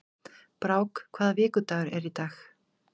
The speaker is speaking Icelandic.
Brák, hvaða vikudagur er í dag?